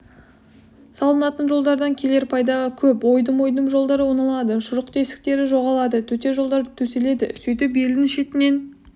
салынатын жолдардан келер пайда көп ойдым-ойдым жолдар оңалады шұрық-тесіктері жоғалады төте жолдар төселеді сөйтіп елдің шетінен